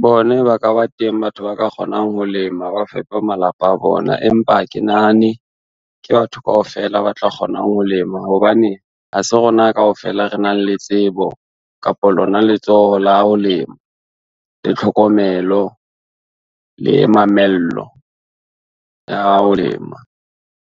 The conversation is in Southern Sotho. Bone ba ka ba teng, batho ba ka kgonang ho lema ba fepe malapa a bona, empa ha ke nahane ke batho kaofela ba tla kgona ho lema hobane ha se rona kaofela re nang le tsebo, kapa lona letsoho la ho lema, le tlhokomelo le mamello ya ho lema.